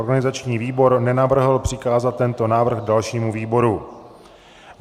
Organizační výbor nenavrhl přikázat tento návrh dalšímu výboru.